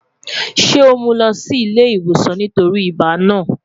Ṣe o mu u lọ si ile-iwosan nitori ibà naa?